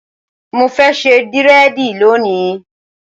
Mo fẹ́ ṣe dírẹ̀dì lónìí.